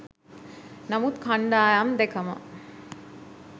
නමුත් කණ්ඩායම් දෙකම